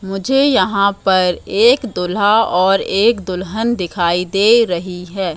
मुझे यहां पर एक दूल्हा और एक दुल्हन दिखाई दे रही है।